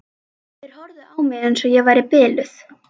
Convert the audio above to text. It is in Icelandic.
Þeir horfðu á mig eins og ég væri biluð.